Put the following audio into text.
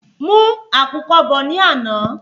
Mu Àkùkọ bọ ni àná